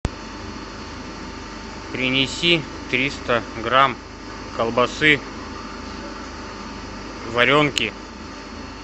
принеси триста грамм колбасы варенки